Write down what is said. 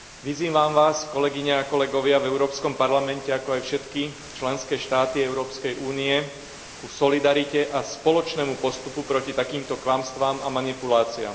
Vyzývam Vás, kolegyne a kolegovia v Európskom parlamente, ako aj všetky členské štáty Európskej únie ku solidarite a spoločnému postupu proti takýmto klamstvám a manipuláciám.